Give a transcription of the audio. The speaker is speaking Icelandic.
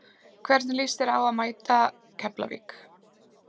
Hvernig lýst þér á að mæta Keflavík?